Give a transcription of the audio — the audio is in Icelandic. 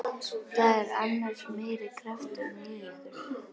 Það er annars meiri krafturinn í ykkur.